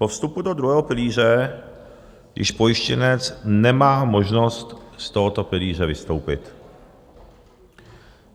Po vstupu do druhého pilíře již pojištěnec nemá možnost z tohoto pilíře vystoupit.